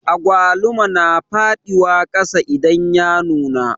Agwaluma na faɗiwa kasa idan ya nuna